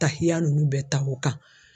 Tahiya nunnu bɛɛ ta o kan.